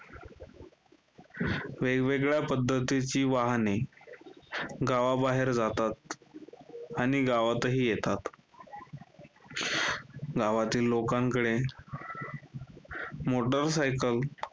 वेगवेगळ्या पद्धतीची वाहने गावाबाहेर जातात आणि गावातही येतात. गावातील लोकांकडे motor cycle